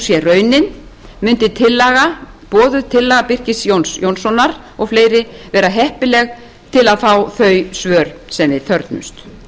raunin mundi boðuð tillaga birkis jóns jónssonar og fleiri vera heppileg til að fá þau svör sem við þörfnumst